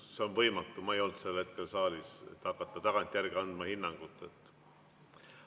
Kuna ma ei olnud sel hetkel saalis, on võimatu hakata tagantjärele hinnangut andma.